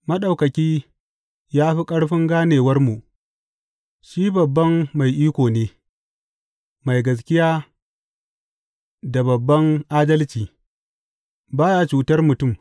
Maɗaukaki ya fi ƙarfin ganewarmu, shi babban mai iko ne, mai gaskiya da babban adalci, ba ya cutar mutum.